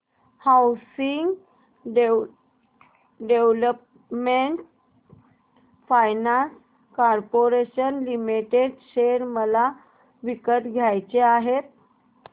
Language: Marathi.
housing development finance corporation limited share मला विकत घ्यायचे आहेत